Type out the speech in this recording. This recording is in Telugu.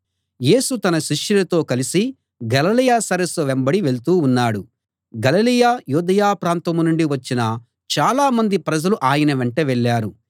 యేసు తన శిష్యులతో కలసి గలిలయ సరస్సు వెంబడి వెళ్తూ ఉన్నాడు గలిలయ యూదయ ప్రాంతం నుండి వచ్చిన చాలామంది ప్రజలు ఆయన వెంట వెళ్ళారు